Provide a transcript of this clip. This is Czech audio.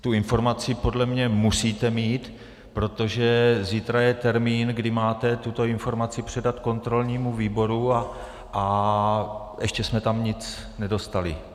Tu informaci podle mě musíte mít, protože zítra je termín, kdy máte tuto informaci předat kontrolnímu výboru, a ještě jsme tam nic nedostali.